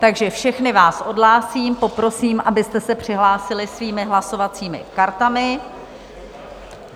Takže všechny vás odhlásím, poprosím, abyste se přihlásili svými hlasovacími kartami.